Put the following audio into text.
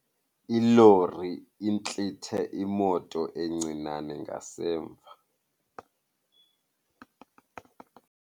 Ilori intlithe imoto encinane ngasemva.